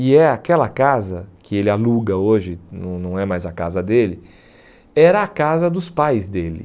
E é aquela casa que ele aluga hoje, não não é mais a casa dele, era a casa dos pais dele.